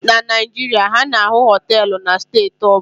Na Naijiria, a na-ahụ họteelụ na steeti ọ bụla